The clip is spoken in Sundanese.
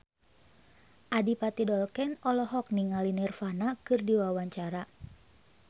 Adipati Dolken olohok ningali Nirvana keur diwawancara